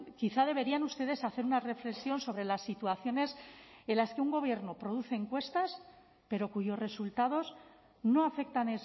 quizá deberían ustedes hacer una reflexión sobre las situaciones en las que un gobierno produce encuestas pero cuyos resultados no afectan